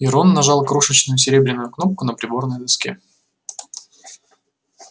и рон нажал крошечную серебряную кнопку на приборной доске